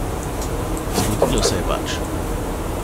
Zgodilo se je pač.